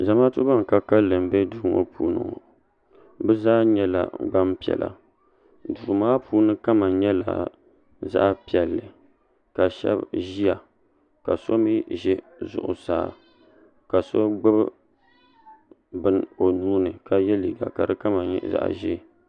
zamaatu ban ka kalinli m-be duu ŋɔ puuni bɛ zaa nyɛla gbaŋ' piɛla duu maa puuni kama nyɛla zaɣ' piɛlli la shɛba ʒiya ka so mi ʒe zuɣusaa ka so gbubi bini o nuu ni ka ye liiga ka di kama nyɛ zaɣ' ʒee.